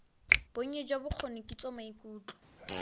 bonnye jwa bokgoni kitso maikutlo